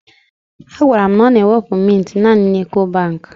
She told me that she use to withdraw mints only in Ecobank